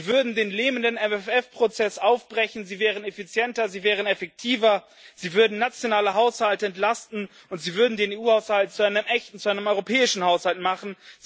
Sie würden den lähmenden MFR Prozess aufbrechen, sie wären effizienter, sie wären effektiver, sie würden nationale Haushalte entlasten und sie würden den EU Haushalt zu einem echten, zu einem europäischen Haushalt machen.